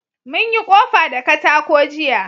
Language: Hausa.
Mun yi ƙofa da katako jiya